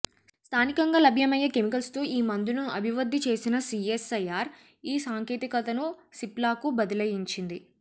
స్ధానికంగా లభ్యమయ్యే కెమికల్స్తో ఈ మందును అభివద్ధి చేసిన సీఎస్ఐఆర్ ఈ సాంకేతికతను సిప్లాకు బదలాయించింది